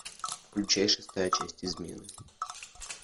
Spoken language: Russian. включай шестая часть измены